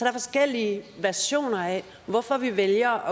er forskellige versioner af hvorfor vi vælger